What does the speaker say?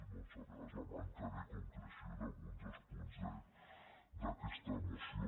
a vegades la manca de concreció d’alguns dels punts d’aquesta moció